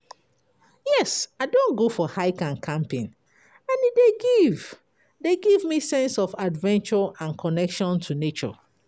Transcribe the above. Yes, i don go for hike and camping, and e dey give dey give me sense of adventure and connection to nature.